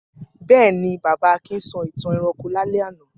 Bẹ́ẹ̀ ni, bàbá Akin sọ ìtan ẹranko lálẹ́ àná.